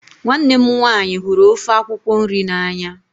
Nwanne mụ nwaanyị hụrụ ofe akwụkwo nri na anya.